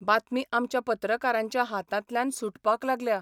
बातमी आमच्या पत्रकारांच्या हातांतल्यान सुटपाक लागल्या.